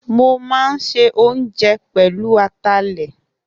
Mo máa ń se oúnjẹ pẹ̀lú atalẹ̀